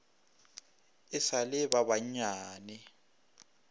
e sa le ba bannyane